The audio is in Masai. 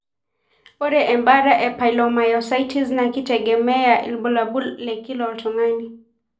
Ore embata e polymyositis naa keitegemea ibulabul lekila oltungani.